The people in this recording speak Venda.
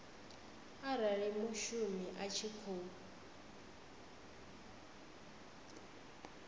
arali mushumi a tshi khou